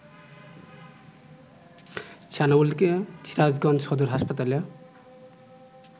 সানাউলকে সিরাজগঞ্জ সদর হাসপাতালে